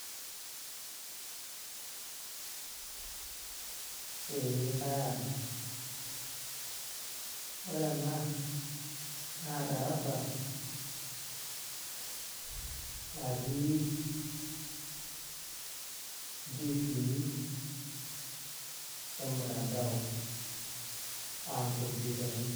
Ee kaata ore ena naa darasa natii ntiifini emutandao aa inkopyutani.